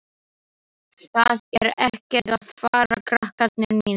Það er ekkert að fara, krakkar mínir.